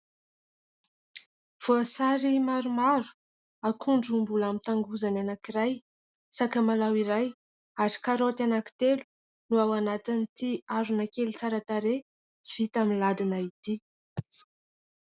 Voasary maromaro, akondro mbola amin'ny tangozany anankiray, sakamalaho iray ary karaoty anankitelo no ao anatin'ity harona kely tsara tarehy vita miladina ity.